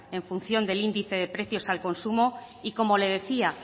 en función del índice de precios al consumo y como le decía